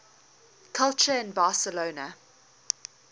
culture in barcelona